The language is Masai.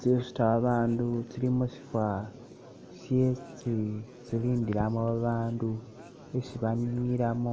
tsisuta babandu tsili musifa shye tsi tsilindilamo babandu isi baninilamo